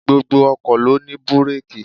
Gbogbo ọkọ̀ ló ní bireeki.